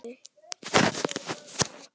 Til hvers spyr Palli.